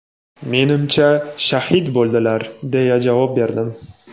"Menimcha, shahid bo‘ldilar", - deya javob berdim.